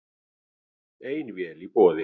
Ein vél í boði